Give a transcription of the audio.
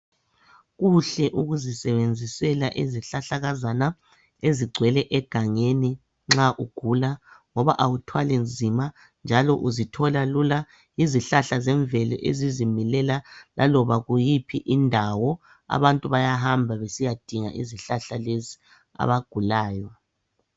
Kuhle ukuzisebenzisela izihlahlakazana ezigcwele egangeni nxa ugula ngoba awuthwali nzima uzithola lula izihlahla zemvelo ezizimilela laloba kuyiphi indawo abantu bayahamba besiyadinga izihlahla lezi abagulayo.